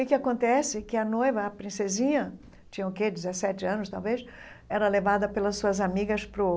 O que que acontece é que a noiva, a princesinha, tinha o quê, dezessete anos talvez, era levada pelas suas amigas para o...